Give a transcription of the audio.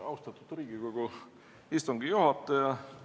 Austatud Riigikogu istungi juhataja!